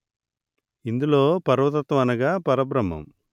ఇందులో పరతత్వం అనగా పరబ్రహ్మం